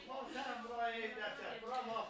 Bax ora çək, bura ey də çək.